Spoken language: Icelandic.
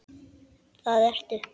Það ertu.